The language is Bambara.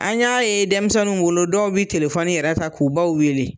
An y'a ye denmisɛnninw bolo, dɔw bɛ telefɔni yɛrɛ ta k'u baw wele.